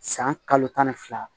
San kalo tan ni fila